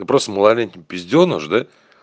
да просто малолетний пизденыш да